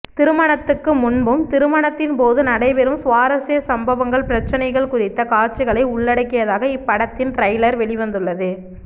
திருமணத்துக்கு முன்பும் திருமணத்தின் போதும் நடைபெறும் சுவாரஸ்ய சம்பவங்கள் பிரச்சினைகள் குறித்த காட்சிகளை உள்ளடக்கியதாக இப்படத்தின் டிரெய்லர் வெளிவந்துள்ளது